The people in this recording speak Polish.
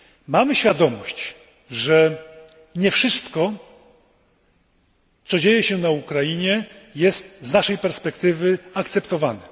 Mamy świadomość, że nie wszystko, co dzieje się na Ukrainie, jest z naszej perspektywy akceptowane.